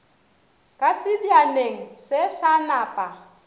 ka sebjaneng se sa napa